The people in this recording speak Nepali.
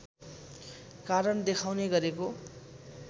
कारण देखाउने गरेको